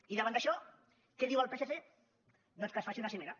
i davant d’això què diu el psc doncs que es faci una cimera